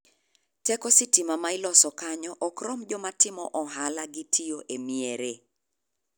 Teko sitima ma iloso kanyo ok rom joma timo ohala gi tiyo e miere.